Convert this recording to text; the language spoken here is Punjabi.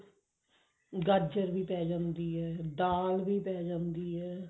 ਗਾਜਰ ਵੀ ਪਾਈ ਜਾਂਦੀ ਹੈ ਦਾਲ ਵੀ ਪਾਈ ਜਾਂਦੀ ਹੈ